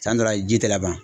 San dɔ la ji tɛ laban.